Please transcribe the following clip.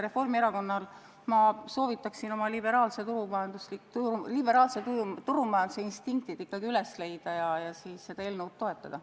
Reformierakonnal ma soovitan oma liberaalse turumajanduse instinktid jälle üles leida ja seda eelnõu toetada.